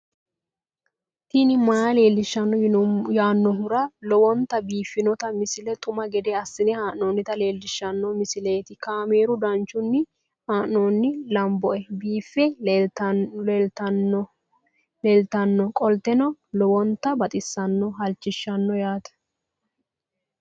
tini maa leelishshanno yaannohura lowonta biiffanota misile xuma gede assine haa'noonnita leellishshanno misileeti kaameru danchunni haa'noonni lamboe biiffe leeeltannoqolten lowonta baxissannoe halchishshanno yaate